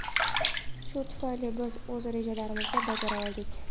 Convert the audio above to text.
Shu tufayli biz o‘z rejalarimizni bajara oldik.